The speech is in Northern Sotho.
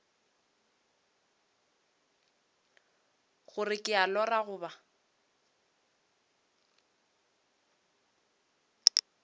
gore ke a lora goba